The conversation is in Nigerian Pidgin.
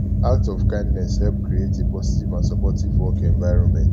acts of kindness help create a positive and supportive work environment